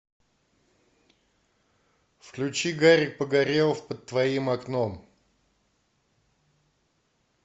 включи гарик погорелов под твоим окном